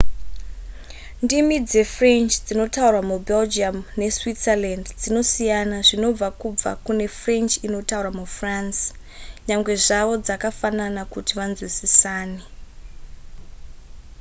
ndimi dzefrench dzinotaurwa mubelgium neswitzerland dzinosiyana zvinobva kubva kune french inotaurwa mufrance nyangwe zvavo dzakafanana kuti vanzwisisane